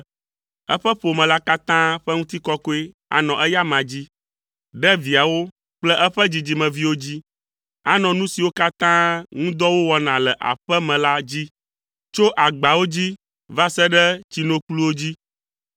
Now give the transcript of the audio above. Eƒe ƒome la katã ƒe ŋutikɔkɔe anɔ eya amea dzi, ɖe viawo kple eƒe dzidzimeviwo dzi. Anɔ nu siwo katã ŋu dɔ wowɔna le aƒe me la dzi; tso agbawo dzi va se ɖe tsinokpluwo dzi.”